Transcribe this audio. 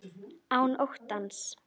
Án óttans.